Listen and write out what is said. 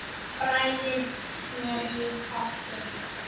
Bræðið smjörið í potti.